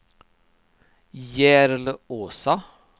Järlåsa